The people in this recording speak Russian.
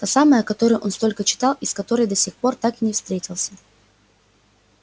та самая о которой он столько читал и с которой до сих пор так и не встретился